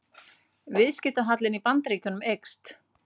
Viðskiptahallinn í Bandaríkjunum eykst